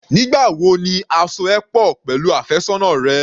Nígbà wo ni a so ẹ pọ̀ pẹ̀lú àfẹ́sọ́nà rẹ?